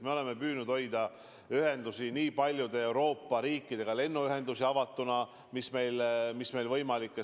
Me oleme püüdnud hoida lennuühendusi paljude Euroopa riikidega avatuna, nii palju kui see on võimalik.